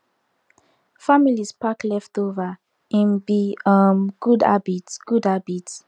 families pack leftover im be um good habit good habit